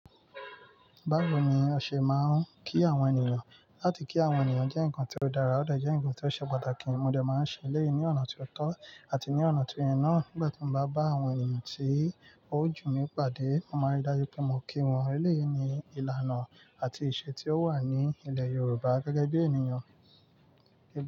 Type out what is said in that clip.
Báwo ni o ṣe máa ń kí àwọn ènìyàn? Láti kí àwọn ènìyàn jẹ́ nǹkan tó dára, ó dà jẹ́ nǹkan tó ṣe pàtàkì. Mo dẹ̀ máa ń ṣe ẹ́leyì ní ọ̀nà tó tọ́ àti ní ọ̀nà tó yẹ náà. Nígbà tí mo bá bá àwọn ènìyàn tí ó jù mí pàdé, mo máa ri dájú pé mo kí wọn ẹ́leyì ní ìlànà àti ìṣe tí ó wà ní ilẹ̀ Yorùbá gẹ́gẹ́ bí ènìyàn.